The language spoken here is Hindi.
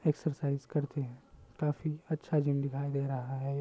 एक्सरसाइज करते है। काफी अच्छा जिम दिखाई दे रहा है।